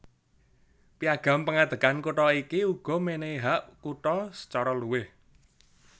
Piagam pengadegan kutha iki uga menehi hak kutha sacara luwih